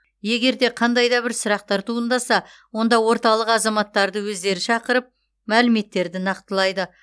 егер де қандай да бір сұрақтар туындаса онда орталық азаматтарды өздері шақыртып мәліметтерді нақтылайды